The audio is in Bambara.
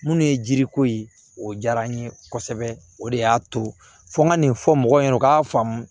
Minnu ye jiriko ye o diyara n ye kosɛbɛ o de y'a to fɔ n ka nin fɔ mɔgɔw ɲɛnɛ u k'a faamu